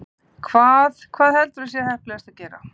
Hvað, hvað heldurðu að sé heppilegast að gera?